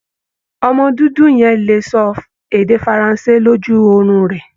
Ọmọ dúdú yẹn le ṣọ èdè Faransé lójú orun rẹ̀.